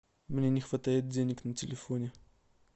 мне не хватает денег на телефоне